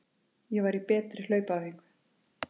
Ég var í betri hlaupaæfingu.